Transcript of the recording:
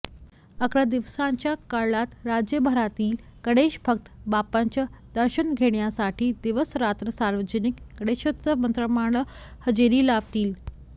अकरा दिवसांच्या काळात राज्यभरातील गणेशभक्त बाप्पाचं दर्शन घेण्यासाठी दिवसरात्र सार्वजनिक गणेशोत्सव मंडळांना हजेरी लावतील